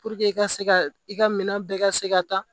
i ka se ka i ka minɛn bɛɛ ka se ka taa